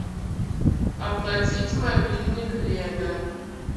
оплатить мобильник лена